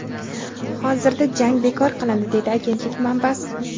hozirda jang bekor qilindi deydi agentlik manbasi.